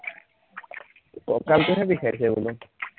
ককালটোহে বিষাইছে বোলো